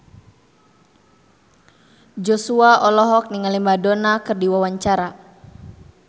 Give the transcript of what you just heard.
Joshua olohok ningali Madonna keur diwawancara